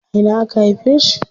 A ina aka haife shi?